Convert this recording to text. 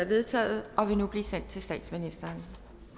vedtaget og vil nu blive sendt til statsministeren